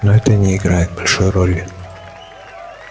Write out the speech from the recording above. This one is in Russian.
но это не играет большой роли